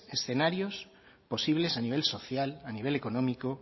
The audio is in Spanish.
escenarios posibles a nivel social a nivel económico